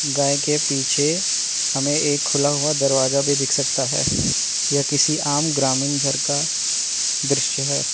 गाय के पीछे हमें एक खुला हुआ दरवाजा भी दिख सकता है। यह किसी आम ग्रामीन घर का दृश्य है।